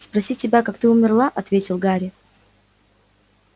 спросить тебя как ты умерла ответил гарри